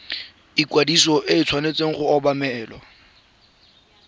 ikwadiso e tshwanetse go obamelwa